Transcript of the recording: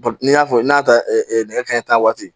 n'i y'a fɔ n'a taara nɛgɛ kanɲɛ tan waati